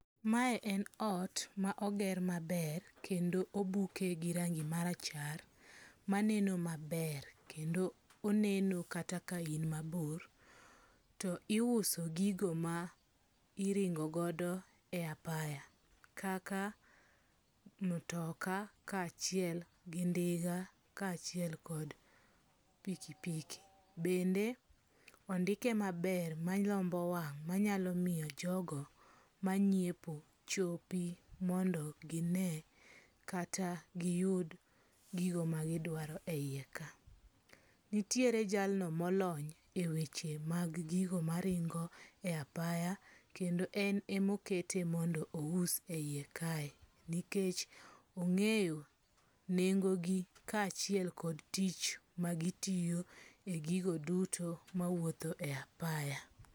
Mae en ot ma oger maber kendo obuke gi rangi marachar maneno maber kendo oneno kata ka in mabor. To iuso gigo ma iringo godo e apaya kaka motoka ka achiel gi ndiga ka achiel kod piki piki. Bende ondike maber malombo wang' manyalo miyo jogo mangiepo chopi mondo gine kata giyud gigo ma gidwaro e yie ka. Nitiere jalno molony e we che mag gigo maringo e apaya kendo en e ma okete mondo ous e yie kae. Nikech ong'eyo nengo gi kachiel kod tich magitiyo e gigo duto mawuotho e yie apaya.